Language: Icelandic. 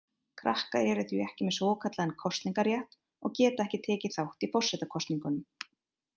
Krakkar eru því ekki með svokallaðan kosningarétt og geta ekki tekið þátt í forsetakosningum.